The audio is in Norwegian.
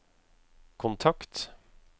kontakt